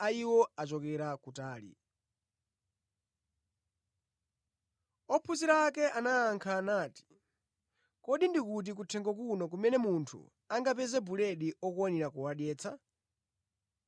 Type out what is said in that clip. Ophunzira ake anayankha nati, “Kodi ndi kuti kuthengo kuno kumene munthu angapeze buledi okwanira kuwadyetsa?”